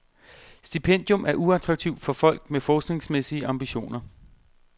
Stipendium er uattraktivt for folk med forskningsmæssige ambitioner.